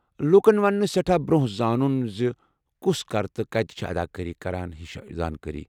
لوٗكن وننہٕ سیٹھاہ برونہہ زانُن زِ کُس کر تہٕ كٕتہِ چُھ اداكٲری كران ہِش زانکٲری ؟